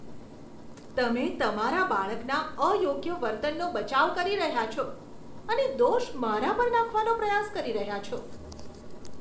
તમે તમારા બાળકના અયોગ્ય વર્તનનો બચાવ કરી રહ્યાં છો અને દોષ મારા પર નાખવાનો પ્રયાસ કરી રહ્યાં છો.